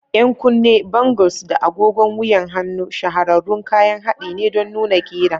Yan kunne, bangles, da agogon wuyan hannu shahararrun kayan haɗi ne don nuna ƙira.